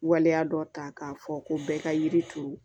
Waleya dɔ ta k'a fɔ ko bɛɛ ka yiri turu